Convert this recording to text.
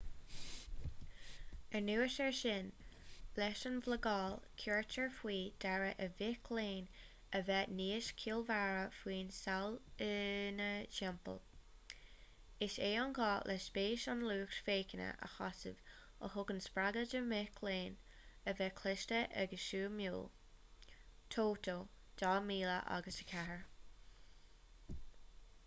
anuas air sin leis an mblagáil cuirtear faoi deara ar mhic léinn a bheith níos ciallmhaire faoin saol ina dtimpeall. is é an gá le spéis an lucht féachana a shásamh a thugann spreagadh do mhic léinn a bheith cliste agus suimiúil toto 2004